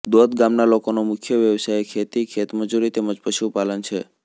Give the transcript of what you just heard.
દોદ ગામના લોકોનો મુખ્ય વ્યવસાય ખેતી ખેતમજૂરી તેમ જ પશુપાલન છે